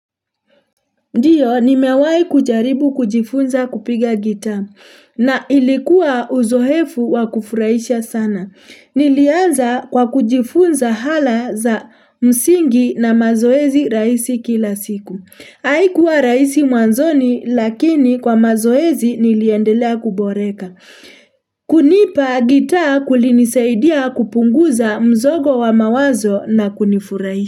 Ndio nimewai kujaribu kujifunza kupiga gita na ilikuwa uzohefu wa kufurahisha sana. Nilianza kwa kujifunza hala za msingi na mazoezi raisi kila siku. Mmmh Haikuwa raisi mwanzoni lakini kwa mazoezi niliendelea kuboreka. Mhh hh kunipa gita kulinisaidia kupunguza mzogo wa mawazo na kunifurais.